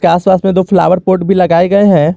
के आस पास में दो फ्लावर पॉट भी लगाए गए है।